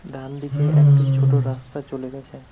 ডানদিকে একটি ছোট রাস্তা চলে গেছে।